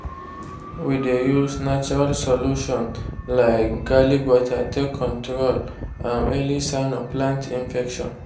we dey use natural solution like garlic water take control um early sign of plant infection.